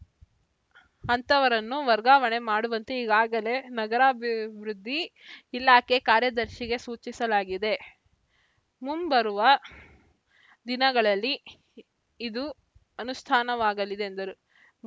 ಅಂಥವರನ್ನು ವರ್ಗಾವಣೆ ಮಾಡುವಂತೆ ಈಗಾಗಲೇ ನಗರಾಭಿವೃದ್ಧಿ ಇಲಾಖೆ ಕಾರ್ಯದರ್ಶಿಗೆ ಸೂಚಿಸಲಾಗಿದೆ ಮುಂಬರುವ ದಿನಗಳಲ್ಲಿ ಇದು ಅನುಷ್ಠಾನವಾಗಲಿದೆ ಎಂದರು